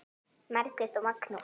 Margrét og Magnús.